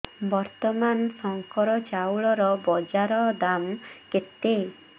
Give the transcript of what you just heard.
ବର୍ତ୍ତମାନ ଶଙ୍କର ଚାଉଳର ବଜାର ଦାମ୍ କେତେ